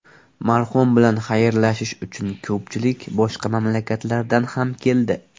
Marhum bilan xayrlashish uchun ko‘pchilik boshqa mamlakatlardan ham keldi.